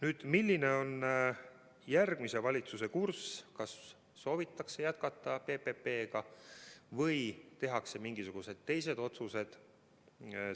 Nüüd, milline on järgmise valitsuse kurss: kas soovitakse jätkata PPP-ga või tehakse mingisugused teised otsused?